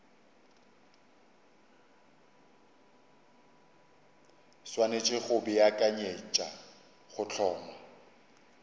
swanetše go beakanyetša go hlongwa